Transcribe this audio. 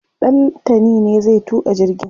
Ɗantani ne zai tuka jirgin